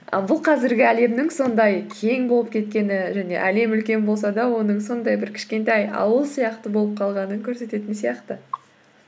бұл қазіргі әлемнің сондай кең болып кеткені және әлем үлкен болса да оның сондай бір кішкентай ауыл сияқты болып қалғанын көрсететін сияқты